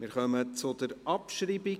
Wir kommen zur Abschreibung.